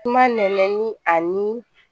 Kuma nɛnɛ ni a ni